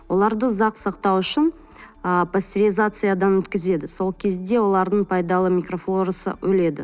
оларды ұзақ сақтау үшін ы пастеризациядан өткізеді сол кезде олардың пайдалы микрофлорасы өледі